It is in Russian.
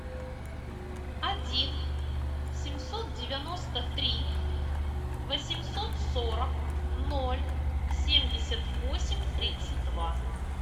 один семьсот девяносто три восемьсот сорок ноль семьдесят восемь тридцать два